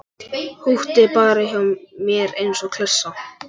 Húkti bara hjá mér eins og klessa.